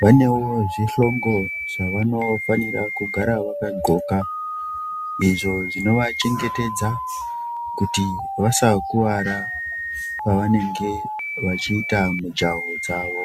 vanewo zvihlongo zvavanofanire kugara vakadhloka izvo zvinovachengetadza kuti vaskuwara pavanenge vachiita mijahwo dzawo.